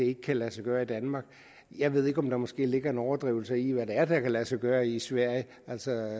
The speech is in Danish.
ikke kan lade sig gøre i danmark jeg ved ikke om der måske ligger en overdrivelse i hvad det er der kan lade sig gøre i sverige altså